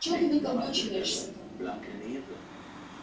чё ты выкаблучиваешься-то